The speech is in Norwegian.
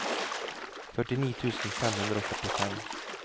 førtini tusen fem hundre og førtifem